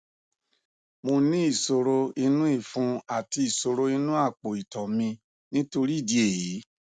mo ní ìṣòro inú ifun àti isoro inú apo ito mi nitori idi eyi